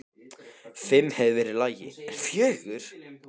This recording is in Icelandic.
Fimm hefði verið í lagi, en fjögur?!?!?